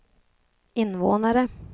invånare